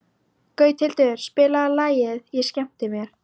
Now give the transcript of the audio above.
Gauthildur, spilaðu lagið „Ég skemmti mér“.